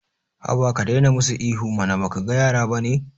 Haba ka daina musu ihu mana baka ga yara bane